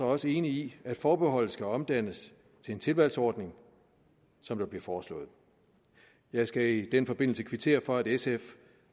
også enig i at forbeholdet skal omdannes til en tilvalgsordning som der bliver foreslået jeg skal i den forbindelse kvittere for at sf